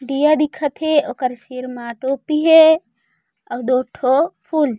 दिया दिखत हे ओकर सिर मा टोपी हे अउ दू ठो फूल--